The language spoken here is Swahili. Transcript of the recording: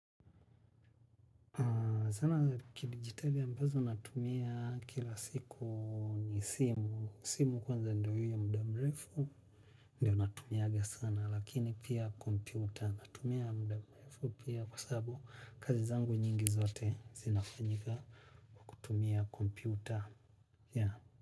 Zana za kidijitali ambazo natumia kila siku ni simu kwanza ndiyohiyo muda. Ndiyo natumiaga sana lakini pia kompyuta. Natumia mudamrefu pia kwa sababu kazi zangu nyingi zote zinafanyika kwakutumia kompyuta.